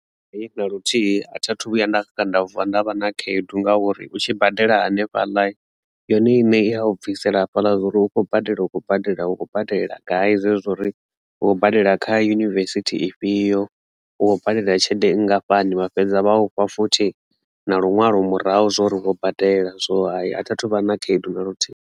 Hai, na luthihi a tha thu vhuya nda vuwa ndavha na khaedu ngauri u tshi badela hanefhaḽa yone iṋe i ya u bvisela hafhaḽa zwa uri u khou badela u khou badela hu khou badela gai zwezwo uri wo badela kha Yunivesithi ifhio u badela tshelede nngafhani vha fhedza vha ufha futhi na lunwalo murahu zwori ni kho badela zwo athi athuvha na khaedu na luthihi.